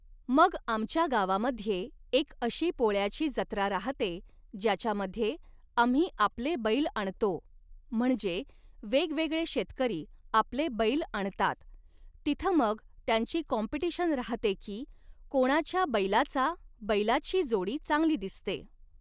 मग आमच्या गावामध्ये एक अशी पोळ्याची जत्रा राहते ज्याच्यामध्ये आम्ही आपले बैल आणतो म्हणजे वेगवेगळे शेतकरी आपले बैल आणतात तिथं मग त्यांची काॅम्पिटिशन राहते की कोणाच्या बैलाचा बैलाची जोडी चांगली दिसते